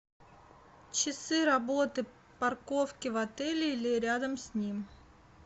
часы работы парковки в отеле или рядом с ним